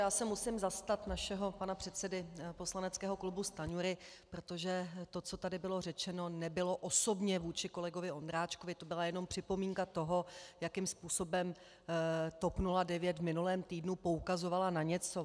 Já se musím zastat našeho pana předsedy poslaneckého klubu Stanjury, protože to, co tady bylo řečeno, nebylo osobně vůči kolegovi Ondráčkovi, to byla jenom připomínka toho, jakým způsobem TOP 09 v minulém týdnu poukazovala na něco.